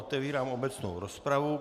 Otevírám obecnou rozpravu.